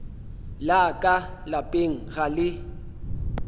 la ka lapeng ga le